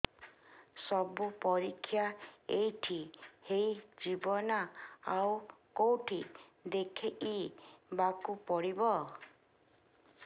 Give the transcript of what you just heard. ସବୁ ପରୀକ୍ଷା ଏଇଠି ହେଇଯିବ ନା ଆଉ କଉଠି ଦେଖେଇ ବାକୁ ପଡ଼ିବ